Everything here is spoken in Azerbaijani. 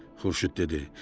Xurşid dedi.